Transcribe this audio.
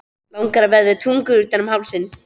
Langar að vefja tungunni utan um hálsinn.